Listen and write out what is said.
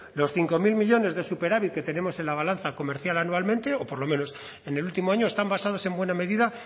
los cinco mil millónes de superávit que tenemos en la balanza comercial anualmente o por lo menos en el último año están basados en buena medida